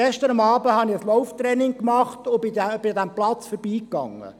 Gestern Abend machte ich ein Lauftraining und lief an diesem Platz vorbei.